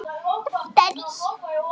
Barnið hefði því orðið svart.